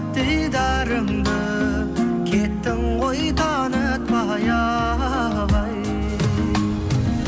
дидарыңды кеттің ғой танытпай ақ ай